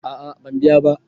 A'a ban biya ba